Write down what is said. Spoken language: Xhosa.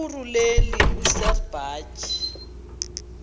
irhuluneli usir bartle